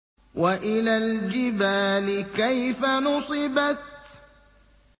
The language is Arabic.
وَإِلَى الْجِبَالِ كَيْفَ نُصِبَتْ